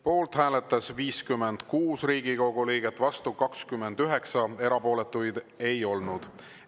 Poolt hääletas 56 Riigikogu liiget, vastu 29, erapooletuid ei olnud.